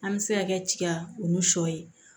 An bɛ se ka kɛ tiga olu sɔ ye